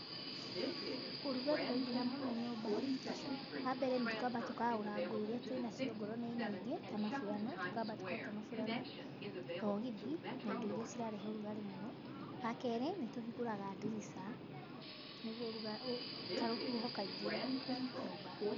Ũrugarĩ waingĩha mũno nyũmba , wa mbere nĩ tũkamba tũkaũra nguo iria twĩnacio okorwo nĩ nyingĩ ta maburana, tũkamba tũkaruta maburana, thogithi, na indo iria cirahehe ũrugarĩ mũno. Wa kerĩ nĩ tũhingũraga ndirica nĩguo ũrugarĩ karũhuho kaingĩre nyũmba.